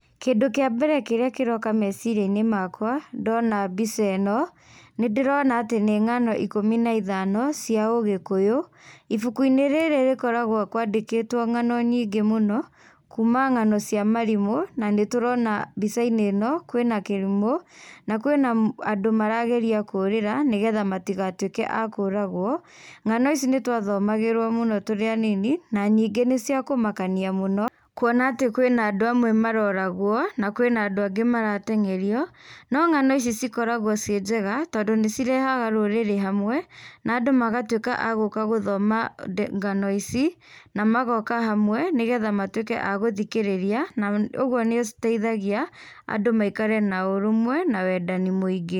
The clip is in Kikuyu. Kĩndũ kĩa mbere kĩrĩa kĩroka meciria-inĩ makwa ndona mbica ĩno, nĩndĩrona atĩ nĩ ng'ano ikũmi na ithano cia ũgĩkũyũ, ibuku-inĩ rĩrĩ rĩkoragwo kũandĩkĩtwo ng'ano nyingĩ mũno kuma ng'ano cia marimũ na nĩtũrona mbica-inĩ ĩno kwĩna kĩrimũ na kwĩna andũ marageria kũrĩra nĩgetha matigatũĩke a kũragwo. Ng'ano ici nĩ tũathomagĩrwo mũno tũrĩ anini na ningĩ nĩ cia kũmakania mũno kuona atĩ kwĩna andũ amwe maroragwo na kwĩna andũ angĩ marateng'erio, no ng'ano icio cikoragwo ciĩ njega tondũ nĩ cirehaga rũrĩrĩ hamwe na andũ magatuĩka a gũka gũthoma ngano ici, na magoka hamwe nĩgetha matuĩke a gũthikĩrĩria, na ũguo nĩ citeithagia andũ maikare na ũrũmwe na wendani mũingĩ.